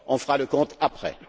On fera le compte après.